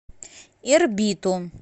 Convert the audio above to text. ирбиту